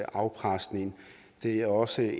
afpresning det er også